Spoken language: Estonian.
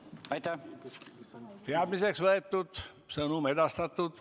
Teadmiseks võetud, sõnum edastatud.